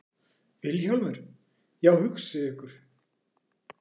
VILHJÁLMUR: Já, hugsið ykkur.